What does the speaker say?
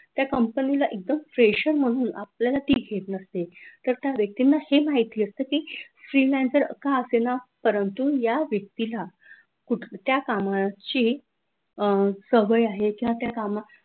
त्या company ला एकदम fresher म्हणून आपल्याला ते घेत नसते तर त्या व्यक्तींना हे माहीत असतं freelancer का असेना हा परंतु या व्यक्तीला कुठल्या कामाची सवय आहे. किंवा त्या कामा